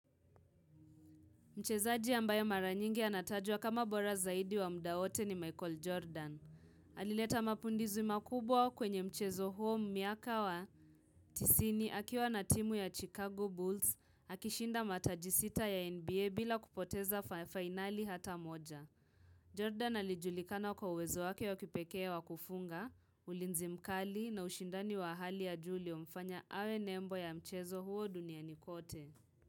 Mchezaji ambayo mara nyingi anatajwa kama bora zaidi wa muda wote ni Michael Jordan. Alileta mapinduzi makubwa kwenye mchezo huo miaka wa tisini akiwa na timu ya Chicago Bulls. Akishinda mataji sita ya NBA bila kupoteza finali hata moja. Jordan alijulikana kwa uwezo wake wa kipekee wa kufunga, ulinzi mkali na ushindani wa hali ya juu uliomfanya awe nembo ya mchezo huo duniani kote.